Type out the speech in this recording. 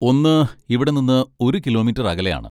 ഒന്ന് ഇവിടെ നിന്ന് ഒരു കിലോമീറ്റർ അകലെയാണ്.